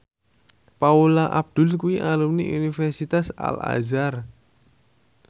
Paula Abdul kuwi alumni Universitas Al Azhar